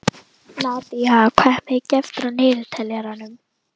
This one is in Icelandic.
Nadía, hvað er mikið eftir af niðurteljaranum?